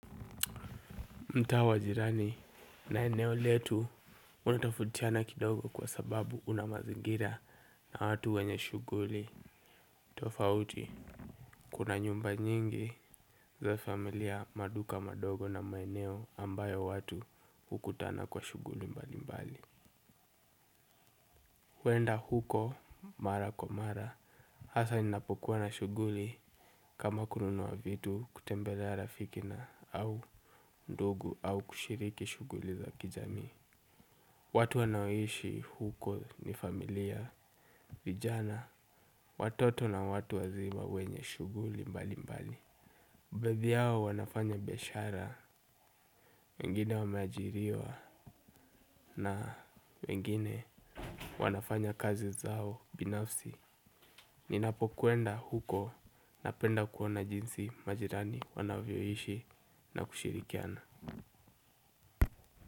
Mtaa wa jirani na eneo letu unatofautiana kidogo kwa sababu una mazingira na watu wenye shughuli tofauti. Kuna nyumba nyingi za familia maduka madogo na maeneo ambayo watu hukutana kwa shughuli mbali mbali. Kuenda huko mara kwa mara hasa ninapokuwa na shughuli kama kununua vitu kutembelea rafiki na au ndugu au kushiriki shughuli za kijamii. Watu wanaoishi huko ni familia, vijana, watoto na watu wazima wenye shughuli mbali mbali baadhi yao wanafanya biashara, wengine wameajiriwa na wengine wanafanya kazi zao binafsi. Ninapokwenda huko napenda kuona jinsi majirani wanavyoishi na kushirikiana.